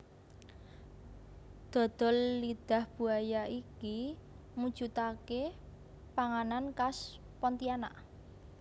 Dodol lidah buaya iki mujudake panganan khas Pontianak